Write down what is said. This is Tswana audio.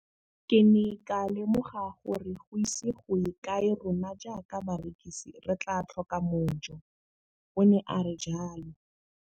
"Ke ne ka lemoga gore go ise go ye kae rona jaaka barekise re tla tlhoka mojo," o ne a re jalo.